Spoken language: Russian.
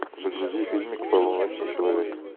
загрузи фильмик полуночный человек